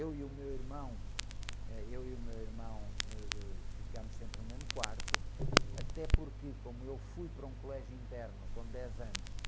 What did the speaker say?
Eu e o meu irmão, eh, eu e o meu irmão, ãh, ficamos sempre no mesmo quarto, até porque, como eu fui para um colégio interno com dez anos,